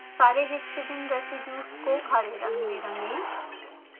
सारे histidine residues को हरे रंग में रंगें